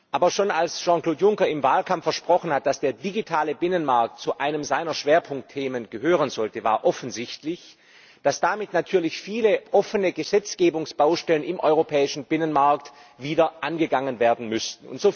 Aber schon als Jean Claude Juncker im Wahlkampf versprochen hat, dass der digitale Binnenmarkt zu seinen Schwerpunktthemen gehören sollte, war offensichtlich, dass damit natürlich viele offene Gesetzgebungsbaustellen im europäischen Binnenmarkt wieder angegangen werden müssten.